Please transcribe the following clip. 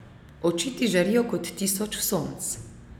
Oči ti žarijo kot tisoč sonc.